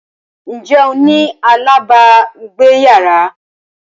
Ǹjẹ́ o ní alábàágbéyàrá?